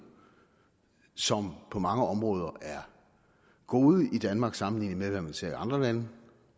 som på mange områder er gode i danmark sammenlignet med hvad man ser i andre lande